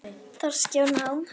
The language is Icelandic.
Þroski og nám